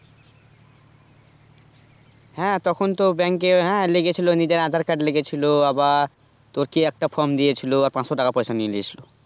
তখন তো bank হ্যাঁ লেগেছিলো নিজের aadhar card লেগেছিলো আবার তোর কি একটা from দিয়েছিলো আর পাঁচশো টাকা পয়সা নিয়ে লিয়েছিল